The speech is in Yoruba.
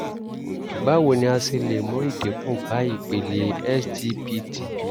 báwo ni a ṣe lè mú ìdínkù bá ipele sgpt?